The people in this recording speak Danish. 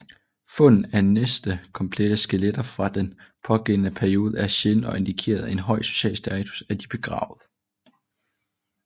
Fundet af næsten komplette skeletter fra den pågældende periode er sjælden og indikerer en høj social status af de begravede